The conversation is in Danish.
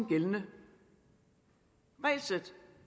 gældende regelsæt